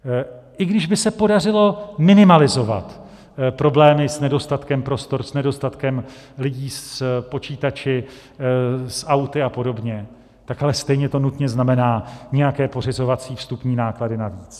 I když by se podařilo minimalizovat problémy s nedostatkem prostor, s nedostatkem lidí, s počítači, s auty a podobně, tak ale stejně to nutně znamená nějaké pořizovací vstupní náklady navíc.